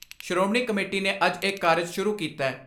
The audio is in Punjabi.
ਸ਼੍ਰੋਮਣੀ ਕਮੇਟੀ ਨੇ ਅੱਜ ਇਹ ਕਾਰਜ ਸ਼ੁਰੂ ਕੀਤੈ।